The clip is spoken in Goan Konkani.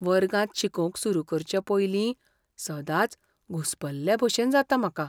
वर्गांत शिकोवंक सुरू करचे पयलीं सदांच घुसपल्लेभशेन जाता म्हाका.